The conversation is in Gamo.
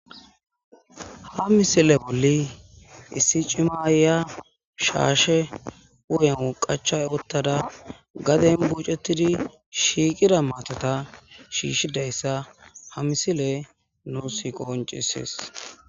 ha misile bolli issi cim ayiya shaashe u7en woqacha ottada gaden bucettidi shiiqida maatota shiishshidayssa ha misile nusi qonciseesi